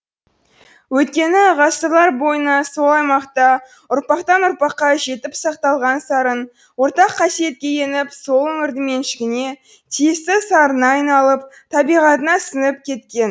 өйткені ғасырлар бойына сол аймақта ұрпақтан ұрпаққа жетіп сақталған сарын ортақ қасиетке еніп сол өңірдің меншігіне тиісті сарынына айналып табиғатына сіңіп кеткен